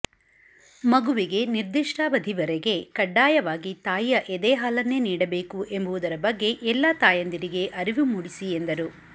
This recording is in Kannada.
ಮಗುವಿಗೆ ನಿರ್ದಿಷ್ಟಾವಧಿವರೆಗೆ ಕಡ್ಡಾಯವಾಗಿ ತಾಯಿಯ ಎದೆ ಹಾಲನ್ನೇ ನೀಡಬೇಕು ಎಂಬುವುದರ ಬಗ್ಗೆ ಎಲ್ಲ ತಾಯಂದಿರಿಗೆ ಅರಿವು ಮೂಡಿಸಿ ಎಂದರು